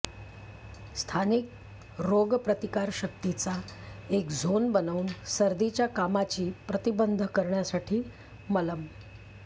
स्थानिक रोग प्रतिकारशक्तीचा एक झोन बनवून सर्दीच्या कामाची प्रतिबंध करण्यासाठी मलम